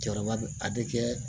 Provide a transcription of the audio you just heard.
Cɛkɔrɔba bɛ a bɛ kɛ